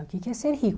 O que que é ser rico?